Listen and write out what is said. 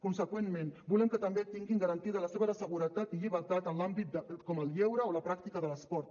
conseqüentment volem que també tinguin garantida la seva seguretat i llibertat en àmbits com el lleure o la pràctica de l’esport